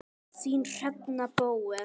Þín, Hrefna Bóel.